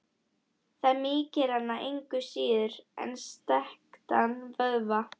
Það mýkir hana engu síður en strekktan vöðva.